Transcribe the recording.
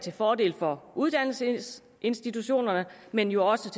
en fordel for uddannelsesinstitutionerne men jo også